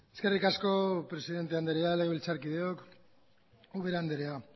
eskerrik asko presidente andrea legebiltzarkideok ubera andrea